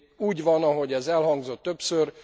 Úgy van, ahogy ez elhangzott többször.